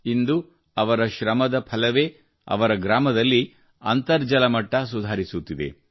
ಇಂದು ಅವರ ಶ್ರಮದ ಫಲವೇ ಅವರ ಗ್ರಾಮದಲ್ಲಿ ಅಂತರ್ಜಲ ಮಟ್ಟ ಸುಧಾರಿಸುತ್ತಿದೆ